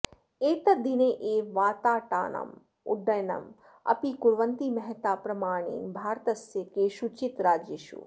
एतद्दिने एव वाताटानाम् उड्डयनम् अपि कुर्वन्ति महता प्रमाणेन भारतस्य केषुचित् राज्येषु